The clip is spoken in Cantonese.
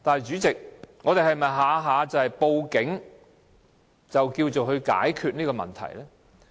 主席，但我們是否每次也要用報警來解決問題呢？